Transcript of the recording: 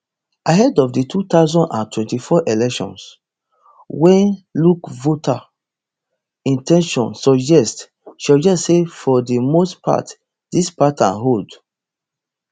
ahead of di two thousand and twenty-four election wey look voter in ten tion suggest suggest say for di most part dis pattern hold